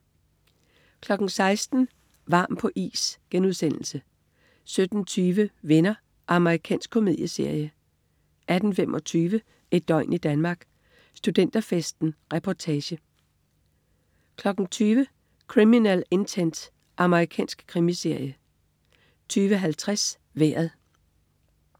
16.00 Varm på is* 17.20 Venner. Amerikansk komedieserie 18.25 Et døgn i Danmark: Studenterfesten. Reportage 20.00 Criminal Intent. Amerikansk krimiserie 20.50 Vejret